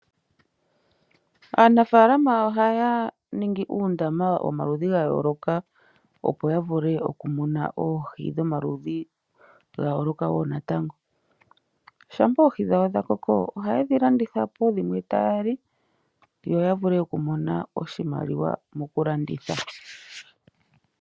Aanafaalama oha ya ningi uundama womaludhi ga yooloka, opo ya vule oku muna oohi dhomaludhi ga yooloka wo natango. Shampa oohi dhawo dha koko, oha ye dhi landitha po, dhimwe taa li, yo ya vule okumona oshimaliwa moku landitha.